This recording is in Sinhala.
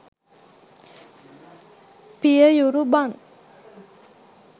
පිය යුරු බන්